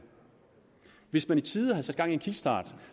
hvis man i tide havde sat gang i en kickstart